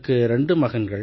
எனக்கு ரெண்டு மகன்கள்